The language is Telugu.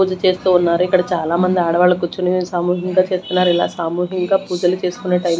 పూజ చేస్తున్నారు ఇక్కడ చాలా మంది ఆడవాళ్లు కూర్చొని సామూహికంగా చేస్తున్నారు ఇలా సామూహికంగా పూజలు చేసుకునే టైం --